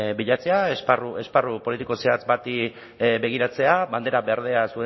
bilatzea esparru politiko zehatz bati begiratzea bandera berdea